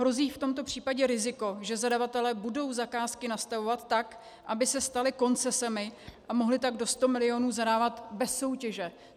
Hrozí v tomto případě riziko, že zadavatelé budou zakázky nastavovat tak, aby se staly koncesemi, a mohli tak do 100 milionů zadávat bez soutěže.